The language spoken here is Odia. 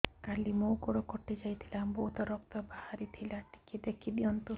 କାଲି ମୋ ଗୋଡ଼ କଟି ଯାଇଥିଲା ବହୁତ ରକ୍ତ ବାହାରି ଥିଲା ଟିକେ ଦେଖି ଦିଅନ୍ତୁ